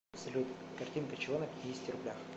салют картинка чего на пятидесяти рублях